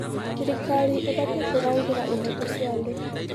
Thirikari ĩbatiĩ kũrangĩra ihooto cia andũ.